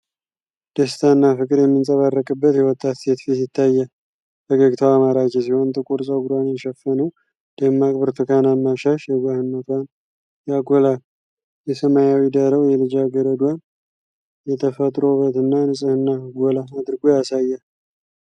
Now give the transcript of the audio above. ደስታና ፍቅር የሚንጸባረቅበት የወጣት ሴት ፊት ይታያል! ፈገግታዋ ማራኪ ሲሆን፣ ጥቁር ፀጉሯን የሸፈነው ደማቅ ብርቱካናማ ሻሽ የዋህነቷን ያጎላል። የሰማያዊ ዳራው የልጃገረዷን የተፈጥሮ ውበትና ንጽሕና ጎላ አድርጎ ያሳያል።